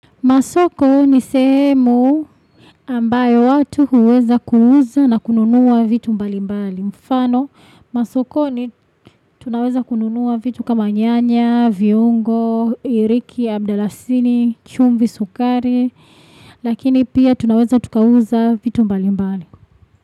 Masoko, ni sehemuu ambayo watu huweza kuuza na kununua vitu mbali mbali. Mfano, masokoni, tunaweza kununua vitu kama nyanyaaa, viungooo, hiriki, ya mdalasini, chumvi, sukari, lakini pia tunaweza tukauzaa vitu mbali mbali.